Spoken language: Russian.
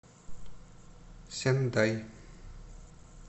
сендай